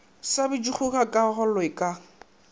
sa bitšego ga kaalo ka